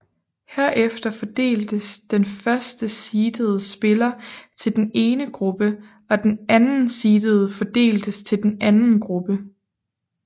Herefter fordeltes den første seedede spiller til den ene gruppe og den anden seedede fordeltes til den anden gruppe